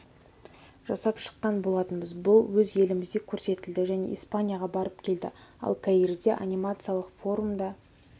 жасап шыққан болатынбыз бұл өз елімізде көрсетілді және испанияға барып келді ал каирде анимациялық форумда